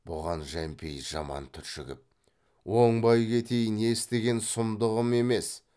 бұған жәмпейіс жаман түршігіп оңбай кетейін естіген сұмдығым емес